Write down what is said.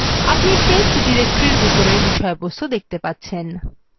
আপনি test directory বিষয়বস্তু দেখতে পাচ্ছেন